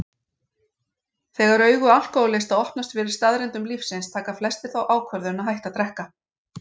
Þegar augu alkohólista opnast fyrir staðreyndum lífsins taka flestir þá ákvörðun að hætta að drekka.